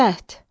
Şəhd.